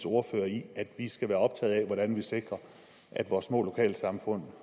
ordfører i at vi skal være optaget af hvordan vi sikrer at vores små lokalsamfund